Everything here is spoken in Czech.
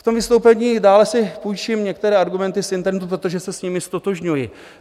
V tom vystoupení si dále půjčím některé argumenty z internetu, protože se s nimi ztotožňuji.